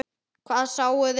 Hvað sáuði?